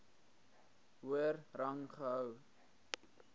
hoër rang gehou